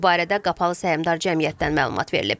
Bu barədə Qapalı Səhmdar Cəmiyyətdən məlumat verilib.